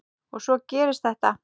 Og svo gerist þetta.